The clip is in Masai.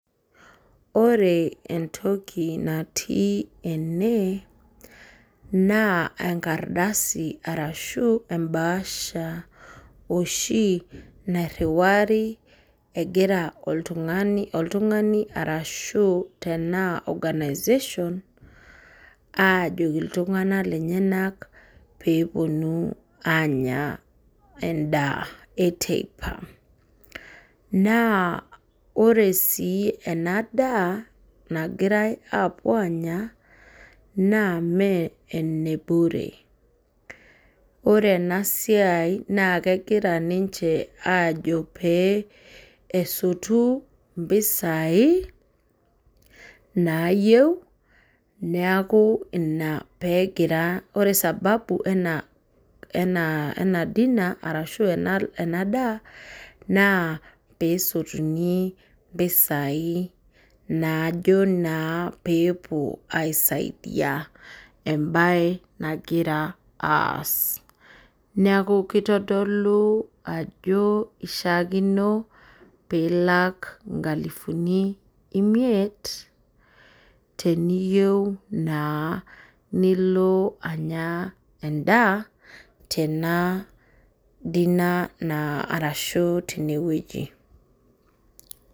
Ore entoki natii ene na enkardasi ashu embaasha oshobnairiwari egira oltung'ani anaa organization ltung'anak lenyenak peponu anya endaa eteipa na ore si ena daa nagirai apuo anya me enebure ore enasiai na kegira ajo pesoti mpisai nayieu neakuore sababu ena dinner ena daa na pesotuni mpisai najo na pepuo aisaidia embae nagira aas neaku kitadolu ajo kishaakino pilak nkalifuni imiet teniyieu nilo anya endaa tenewueji.